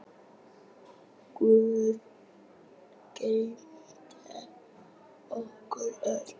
Guð geymi ykkur öll.